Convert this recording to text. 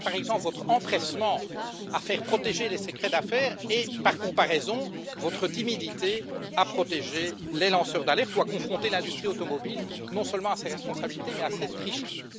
En témoigne, par exemple, votre empressement à faire protéger les secrets d'affaires et, par comparaison, votre timidité à protéger les lanceurs d'alerte ou à confronter l'industrie automobile, non seulement à ses responsabilités mais à ses tricheries.